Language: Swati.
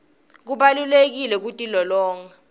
kubalulekile kutilolonga